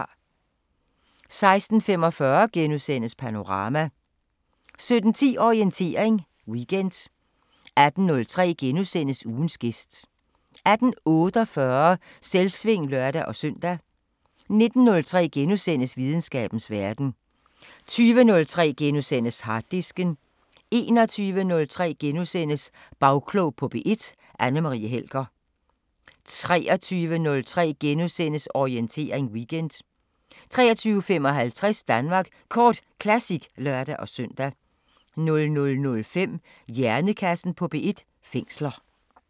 16:45: Panorama * 17:10: Orientering Weekend 18:03: Ugens gæst * 18:48: Selvsving (lør-søn) 19:03: Videnskabens Verden * 20:03: Harddisken * 21:03: Bagklog på P1: Anne Marie Helger * 23:03: Orientering Weekend * 23:55: Danmark Kort Classic (lør-søn) 00:05: Hjernekassen på P1: Fængsler